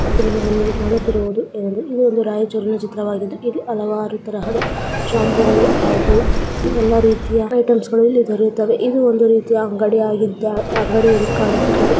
ಚಿತ್ರದಲ್ಲಿ ನಮಗೆ ಕಾಣುತ್ತಿರುವುದು ನಮಗೆ ಏನೆಂದರೆ ಇದು ಒಂದು ರಾಯಚೂರಿನ ಚಿತ್ರವಾಗಿದ್ದು ಇಲ್ಲಿ ಹಲವಾರು ತರಹದ ಶಾಂಪೂ ಗಳು ಹಾಗು ಯಲ್ಲಾ ರೀತಿಯ ಐಟೆಮ್ಸ ಗಳ ಇಲ್ಲಿ ದೊರೆಯುತ್ತವೆ. ಇವು ಒಂದು ರೀತಿಯ ಅಂಗಡಿಯಾಗಿದ್ದ ಅಂಗಡಿ ಯಂದು ಕಾಣಿಸುತ್ತದೆ.